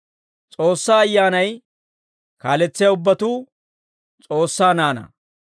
S'oossaa Ayyaanay kaaletsiyaa ubbatuu S'oossaa naanaa.